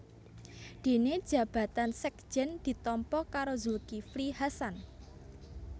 Dene jabatan sekjen ditampa karo Zulkifli Hasan